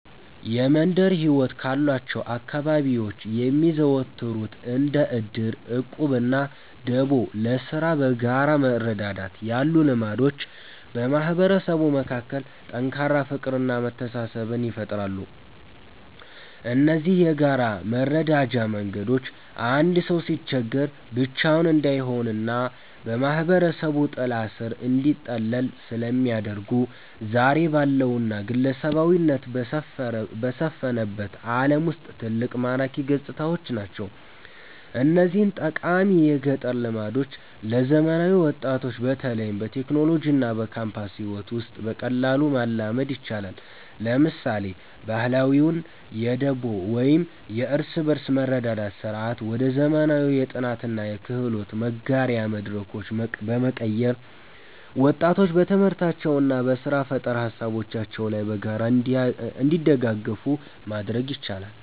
የመንደር ሕይወት ካሏቸው አካባቢዎች የሚዘወተሩት እንደ ዕድር፣ ዕቁብና ደቦ (ለሥራ በጋራ መረዳዳት) ያሉ ልማዶች በማህበረሰቡ መካከል ጠንካራ ፍቅርና መተሳሰብን ይፈጥራሉ። እነዚህ የጋራ መረዳጃ መንገዶች አንድ ሰው ሲቸገር ብቻውን እንዳይሆንና በማህበረሰቡ ጥላ ሥር እንዲጠለል ስለሚያደርጉ፣ ዛሬ ባለውና ግለሰባዊነት በሰፈነበት ዓለም ውስጥ ትልቅ ማራኪ ገጽታዎች ናቸው። እነዚህን ጠቃሚ የገጠር ልማዶች ለዘመናዊ ወጣቶች በተለይም በቴክኖሎጂና በካምፓስ ሕይወት ውስጥ በቀላሉ ማላመድ ይቻላል። ለምሳሌ፣ ባህላዊውን የደቦ ወይም የእርስ በርስ መረዳዳት ሥርዓት ወደ ዘመናዊ የጥናትና የክህሎት መጋሪያ መድረኮች በመቀየር፣ ወጣቶች በትምህርታቸውና በሥራ ፈጠራ ሃሳቦቻቸው ላይ በጋራ እንዲደጋገፉ ማድረግ ይቻላል።